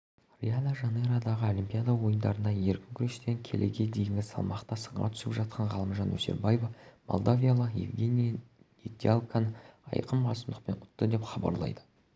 рио-де-жанейродағы олимпиада ойындарында еркін күрестен келіге дейінгі салмақта сынға түсіп жатқан ғалымжан өсербаев молдавиялық евгений недялконы айқын басымдықпен ұтты деп хабарлайды